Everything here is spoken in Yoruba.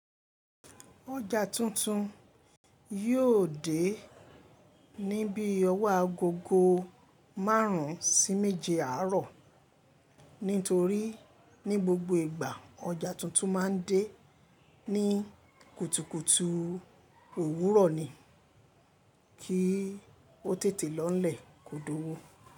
Oja tuntun yíò dé ní bí ọwọ́ agogo márùn ún sí méje àárọ̀. Nítorí ní gbogbo ìgbà ọjà tuntun ma ń dé ní kùtùkùtù òwúrọ̀ ni kí ó tètè lọńlẹ̀ kò dọ̀wọ́.